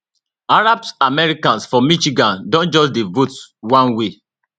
arab americans for michigan don just dey vote one way